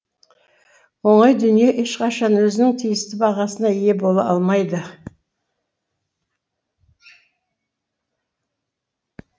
оңай дүние ешқашан өзінің тиісті бағасына ие бола алмайды